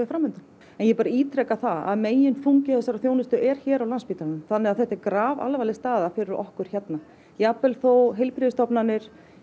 fram undan ég bara ítreka það að meginþungi þessarar þjónustu er hér á Landspítalanum þannig að þetta er grafalvarleg staða fyrir okkur hérna jafnvel þó heilbrigðisstofnanir